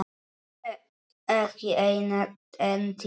Ekki seinna en tíu.